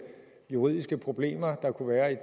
juridiske problemer der kunne være i